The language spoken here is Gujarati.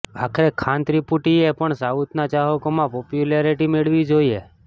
અમારે ખાન ત્રિપુટીએ પણ સાઉથના ચાહકોમાં પોપ્યુલારિટી મેળવવી જોઈએ